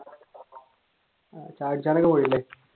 പോയില്ലേ